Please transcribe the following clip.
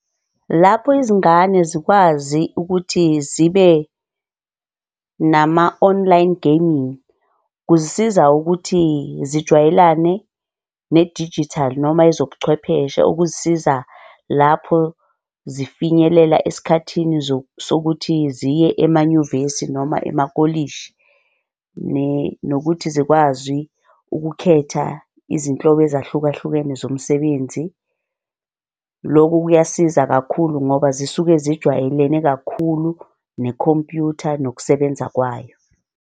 Lapho izingane zikwazi ukuthi zibe nama-online gaming, kuzisiza ukuthi zijwayelane nedijithali noma ezobuchwepheshe ukuzisiza lapho zifinyelela esikhathini sokuthi ziye emanyuvesi noma emakolishi, nokuthi zikwazi ukukhetha izinhlobo ezahlukahlukene zomsebenzi. Loku kuyasiza kakhulu ngoba zisuke zijwayelene kakhulu nekhompyutha nokusebenza kwayo.